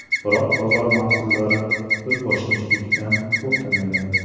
Biroq bozor mas’ullari o‘zboshimchalikdan to‘xtamagan.